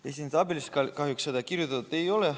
Ei, siin tabelis kahjuks seda kirjutatud ei ole.